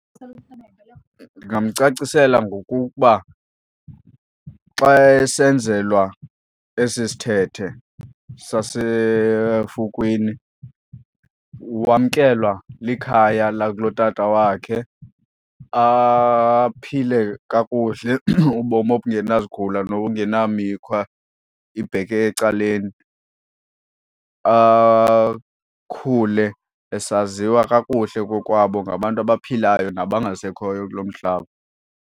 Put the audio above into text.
Ndingamcacisela ngokuba xa esenzelwa esi sithethe sasefukwini wamkelwa likhaya lakulotata wakhe aphile kakuhle ubomi obungena zigula nokungena mikhwa ibheke ecaleni. Akhule esaziwa kakuhle kokwabo ngabantu abaphilayo nabangasekhoyo kulo mhlaba.